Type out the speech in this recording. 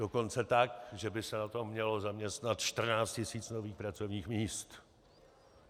Dokonce tak, že by se na to mělo zaměstnat 14 tisíc nových pracovních míst.